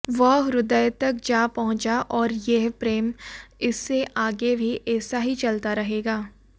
वह हृदयतक जा पहुंचा और यह प्रेम इससे आगे भी ऐसा ही चलता रहेगा